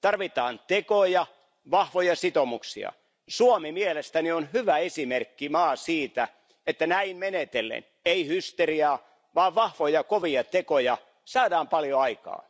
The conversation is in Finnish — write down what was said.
Tarvitaan tekoja ja vahvoja sitoumuksia. Suomi on mielestäni hyvä esimerkkimaa siitä, että näin menetellen ei hysteriaa vaan vahvoja, kovia tekoja saadaan paljon aikaan.